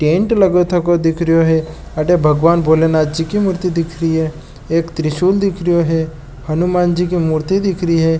टेंट लगो थको दिख रेयो है अठे भगवान भोलेनाथ जी की मूर्ति दिख री है एक त्रिशूल दिख रेयो है हनुमान जी की मूर्ति दिख री है।